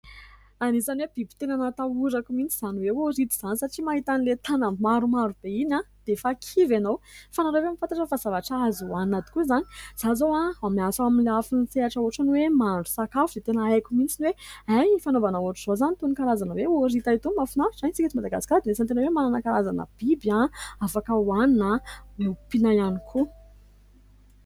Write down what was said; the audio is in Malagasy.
Anisany hoe biby tena natahorako mihitsy izany hoe orita izany satria mahita an'ilay tanany maromaro be iny dia efa kivy ianao, fa ianareo hoe mahafantatra fa zavatra azo hohanina tokoa izany ? Izaho izao miasa amin'ny lafin'ny sehatra ohatrany hoe mahandro sakafo dia tena haiko mihitsy ny hoe hay, fanaovana ohatra izao izany itony karazana hoe orita itony, mahafinaritra. Isika eto Madagasikara dia anisany tena hoe manana karazana biby afaka hohanina np ompiana ihany koa.